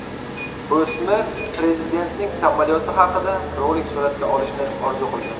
O‘smir prezidentning samolyoti haqida rolik suratga olishni orzu qilgan.